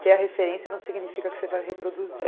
Ter a referência não significa que você vai reproduzir.